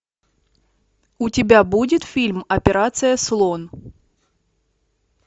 у тебя будет фильм операция слон